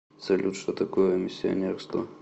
салют что такое миссионерство